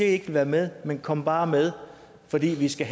ikke vil være med men kom bare med for vi skal